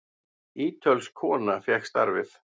Ítölsk kona fékk starfið.